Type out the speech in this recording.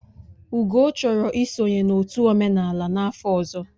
Ugo chọrọ isonye n'otu omenala n'afọ ọzọ